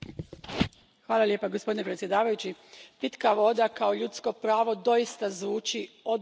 Gospodine predsjedavajući, pitka voda kao ljudsko pravo doista zvuči odgovorno i plemenito.